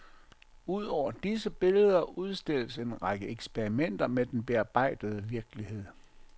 Udover disse billeder udstilles en række eksperimenter med den bearbejdede virkelighed.